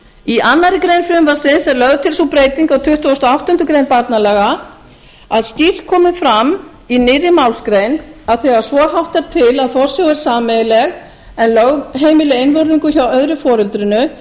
í annarri grein frumvarpsins er lögð til sú breyting á tuttugustu og áttundu grein barnalaga að skýrt komi fram í nýrri málsgrein að þegar svo háttar til að forsjá er sameiginleg en lögheimili einvörðungu hjá öðru foreldrinu